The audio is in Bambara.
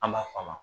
An b'a f'a ma